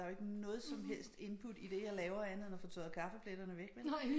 Der jo ikke noget som helst input i det jeg laver andet end at få tørret kaffepletterne væk vel